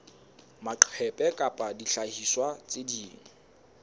maqephe kapa dihlahiswa tse ding